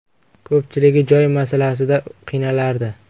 Ko‘pchiligi joy masalasida qiynalardi.